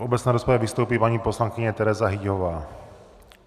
V obecné rozpravě vystoupí paní poslankyně Tereza Hyťhová.